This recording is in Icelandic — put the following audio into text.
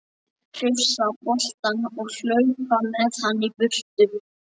Hrifsa boltann og hlaupa með hann í burtu.